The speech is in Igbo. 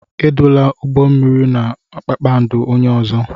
Edola ụgbọ mmiri na kpakpando onye ọzọ.